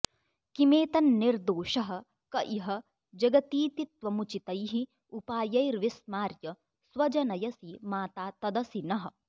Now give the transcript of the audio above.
किमेतन्निर्दोषः क इह जगतीतित्वमुचितैः उपायैर्विस्मार्य स्वजनयसि माता तदसि नः